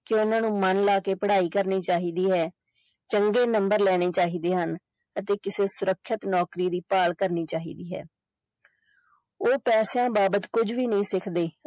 ਕਿ ਓਹਨਾ ਨੂੰ ਮੰਨ ਲਾ ਕੇ ਪੜਾਈ ਕਰਨੀ ਚਾਹੀਦੀ ਹੈ ਚੰਗੇ ਨੰਬਰ ਲੈਣੇ ਚਾਹੀਦੇ ਹਨ ਅਤੇ ਕਿਸੇ ਸੁਰੱਖਿਅਤ ਨੌਕਰੀ ਦੀ ਭਾਲ ਕਰਨੀ ਚਾਹੀਦੀ ਹੈ ਉਹ ਪੈਸਿਆਂ ਬਾਬਤ ਕੁਝ ਵੀ ਨਹੀਂ ਸਿੱਖਦੇ।